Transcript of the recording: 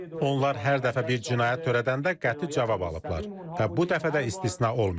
Onlar hər dəfə bir cinayət törədəndə qəti cavab alıblar və bu dəfə də istisna olmayacaq.